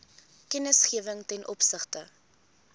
kennisgewing ten opsigte